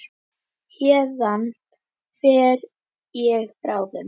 Já, halló!